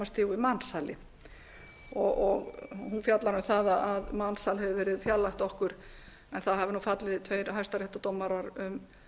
stigu við mansali hún fjallar um það að mansal hefur verið fjarlægt okkur en það hafa fallið tveir hæstaréttardómarar um